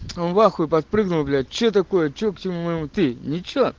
он в ахуе подпрыгнул блять что такое что к чему ты ничего